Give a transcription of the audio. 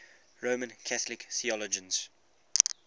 roman catholic theologians